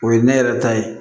O ye ne yɛrɛ ta ye